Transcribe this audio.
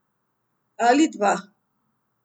Ali dva.